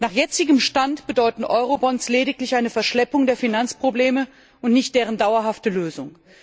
Nach jetzigem Stand bedeuten Eurobonds lediglich eine Verschleppung der Finanzprobleme und nicht deren dauerhafte Lösung.